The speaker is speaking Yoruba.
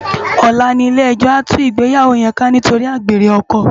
Òlá ni ilé èjò á tú igbéyáwó yèn ká nitóri ágbéré òkò